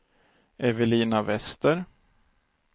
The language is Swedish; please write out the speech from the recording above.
Evelina Wester